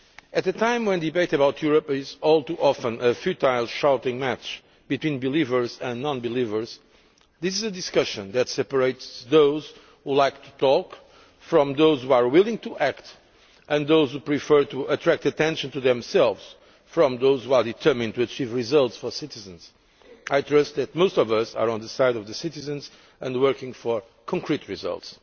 At a time when debate about Europe is all too often a futile shouting match between believers and non believers, this is a discussion that separates those who like to talk from those who are willing to act, and those who prefer to attract attention to themselves from those who are determined to achieve results for citizens. I trust that most of us are on the side of the citizens and working for concrete results.